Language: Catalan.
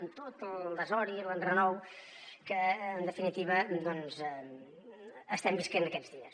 amb tot el desori i l’enrenou que en definitiva estem vivint aquests dies